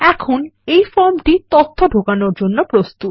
এখন এই ফর্মটি তথ্য ঢোকানোর জন্য প্রস্তুত